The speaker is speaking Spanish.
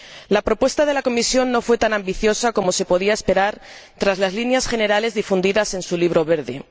La propuesta de la Comisión no fue tan ambiciosa como se podía esperar tras las líneas generales difundidas en su Libro Verde.